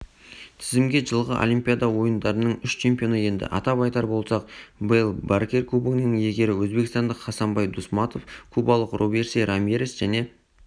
тізімге жылғы олимпиада ойындарының үш чемпионы енді атап айтар болсақ вэл баркер кубогының иегері өзбекстандық хасанбай дусматов кубалық робейси рамирес және